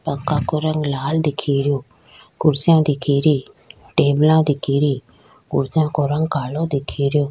पंखा को रंग लाल दिखरयो कुर्सियां दिखेरी टेबला दिखेरी कुर्सियां को रंग काला दिखे रियो।